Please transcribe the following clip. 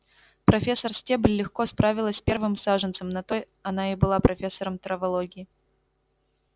профессор стебль легко справилась с первым саженцем на то она и была профессором травологии